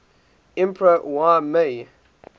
emperor y mei